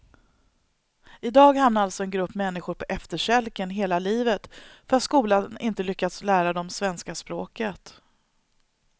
I dag hamnar alltså en grupp människor på efterkälken hela livet för att skolan inte lyckats lära dem svenska språket.